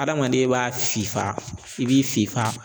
Adamaden b'a fifa i b'i fifa